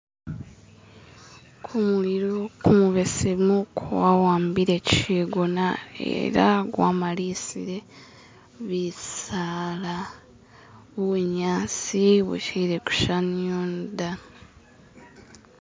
kumulilo kumubesemu kwawambile chigona ela gwamalisile bisaala bunyasi bushili kushaniyono da